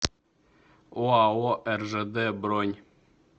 оао ржд бронь